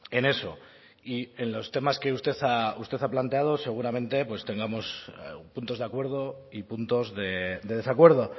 en eso y en los temas que usted ha planteado seguramente tengamos puntos de acuerdo y puntos de desacuerdo